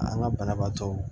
An ka banabaatɔ